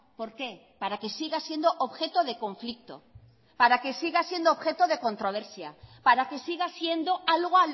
por qué para que siga siendo objeto de conflicto para que siga siendo objeto de controversia para que siga siendo algo